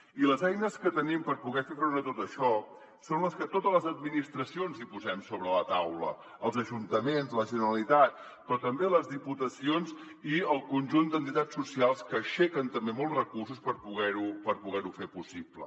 i les eines que tenim per poder fer front a tot això són les que totes les administracions hi posem sobre la taula els ajuntaments la generalitat però també les diputacions i el conjunt d’entitats socials que aixequen també molts recursos per poder ho fer possible